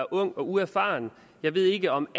er ung og uerfaren jeg ved ikke om